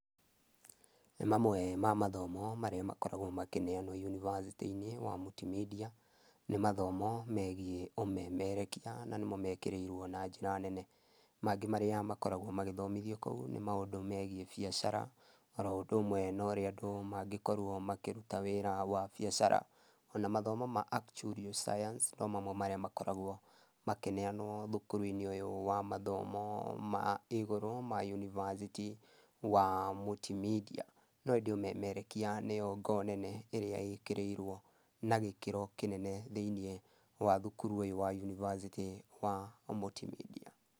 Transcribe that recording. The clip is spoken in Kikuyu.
Mamwe ma mathomo marĩa makoragwo makĩneanwo university -inĩ wa Multimedia, nĩ mathomo megiĩ ũmemerekia, na nĩmo mekĩrĩirwo na njĩra nene. Mangĩ marĩa makoragwo magĩthomithio kũu nĩ maũndũ megiĩ biacara, oro ũndũ ũmwe norĩa andũ mangĩkorwo makĩruta wĩra wa biacara. Ona mathomo ma acturial science no mamwe marĩa makoragwo makĩneanwo thukuru-inĩ ũyũ wa mathomo ma igũrũ ma university wa Multimedia. No ĩndĩ ũmemerekia nĩyo ngo nene ĩrĩa ĩkĩrĩirwo na gĩkĩro kĩnene thĩiniĩ wa thukuru ũyũ wa university wa Multimedia.